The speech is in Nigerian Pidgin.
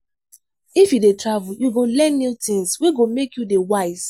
If you dey travel, you go learn new tins wey go make you dey wise.